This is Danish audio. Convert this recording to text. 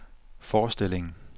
forestillingen